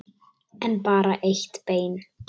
En bara eitt bein.